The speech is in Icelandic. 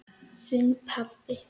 Þinn, pabbi.